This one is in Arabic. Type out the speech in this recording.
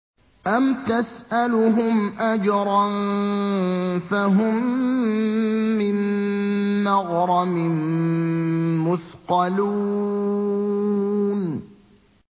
أَمْ تَسْأَلُهُمْ أَجْرًا فَهُم مِّن مَّغْرَمٍ مُّثْقَلُونَ